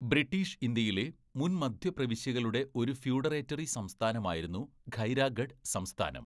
British ഇന്ത്യയിലെ മുൻ മദ്ധ്യ പ്രവിശ്യകളുടെ ഒരു ഫ്യൂഡറേറ്ററി സംസ്ഥാനമായിരുന്നു ഖൈരാഗഢ് സംസ്ഥാനം.